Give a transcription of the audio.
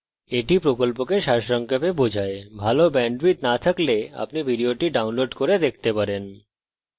এটি কথ্য টিউটোরিয়াল প্রকল্পকে সারসংক্ষেপে বোঝায় ভাল bandwidth না থাকলে আপনি ভিডিওটি download করে দেখতে পারেন